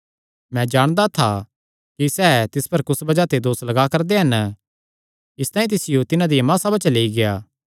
मैं जाणदा था कि सैह़ तिस पर कुस बज़ाह ते दोस लग्गा करदे हन इसतांई तिसियो तिन्हां दिया महासभा च लेई गेआ